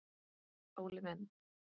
Óli minn!